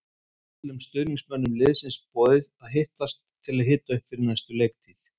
Þar er öllum stuðningsmönnum liðsins boðið að hittast til að hita upp fyrir næstu leiktíð.